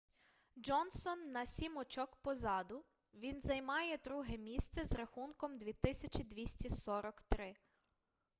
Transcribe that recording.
джонсон на сім очок позаду він займає друге місце з рахунком 2243